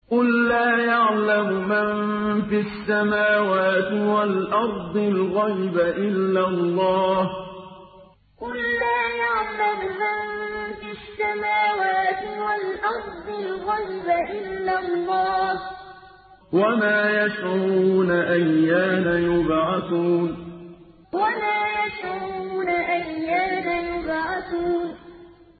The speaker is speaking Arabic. قُل لَّا يَعْلَمُ مَن فِي السَّمَاوَاتِ وَالْأَرْضِ الْغَيْبَ إِلَّا اللَّهُ ۚ وَمَا يَشْعُرُونَ أَيَّانَ يُبْعَثُونَ قُل لَّا يَعْلَمُ مَن فِي السَّمَاوَاتِ وَالْأَرْضِ الْغَيْبَ إِلَّا اللَّهُ ۚ وَمَا يَشْعُرُونَ أَيَّانَ يُبْعَثُونَ